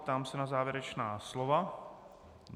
Ptám se na závěrečná slova.